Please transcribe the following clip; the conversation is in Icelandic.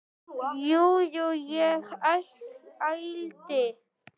Jú, jú, ég ældi.